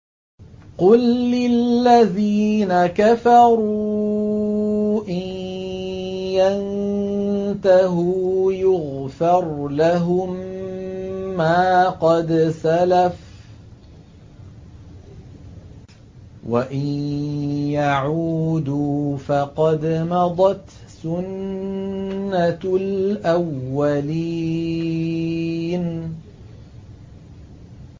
قُل لِّلَّذِينَ كَفَرُوا إِن يَنتَهُوا يُغْفَرْ لَهُم مَّا قَدْ سَلَفَ وَإِن يَعُودُوا فَقَدْ مَضَتْ سُنَّتُ الْأَوَّلِينَ